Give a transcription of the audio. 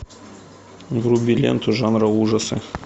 вруби ленту жанра ужасы